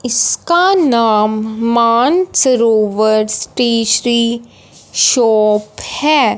इसका नाम Mansarovar stationery shop है।